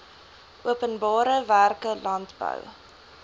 openbare werke landbou